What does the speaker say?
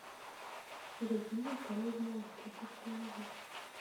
годзилла король монстров установи